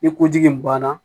Ni ko ji in banna